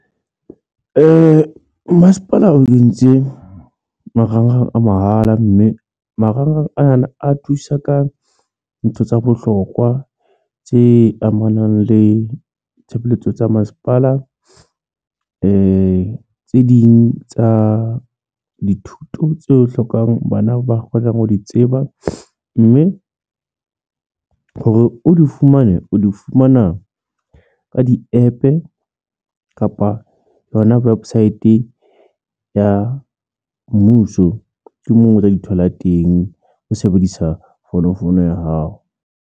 Masepala o kentse marangrang a mahala mme marangrang ana a thusa ka ntho tsa bohlokwa tse amanang le tshebeletso tsa masepala tse ding tsa dithuto tse hlokang bana ba kgonang ho di tseba, mme hore o di fumane o di fumana ka di-APP-e kapa yona wibesite ya mmuso, ke moo o tla di thola teng o sebedisa fonofono ya hao.